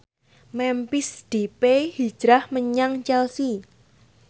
Memphis Depay hijrah menyang Chelsea